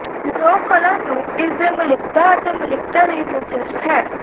ਲੋਕ ਕਲਾ ਨੂੰ ਇਸ ਦੇ ਮੌਲਿਕਤਾ ਅਤੇ ਮੌਲਿਕਤਾ ਲਈ ਦਿਲਚਸਪ ਹੈ